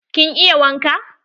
Kin iya waƙa?